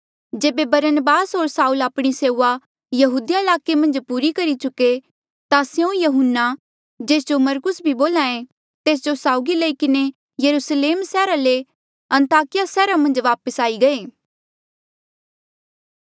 जेबे बरनबास होर साऊल आपणी सेऊआ यहूदिया ईलाके मन्झ पूरी करी चुके ता स्यों यहून्ना जेस जो जे मरकुस भी बोल्हा ऐें तेस जो साउगी लई किन्हें यरुस्लेम सैहरा ले अन्ताकिया सैहरा मन्झ वापस आई गये